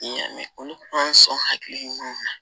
N y'a mɛn olu kuma sɔn hakili ɲumanw na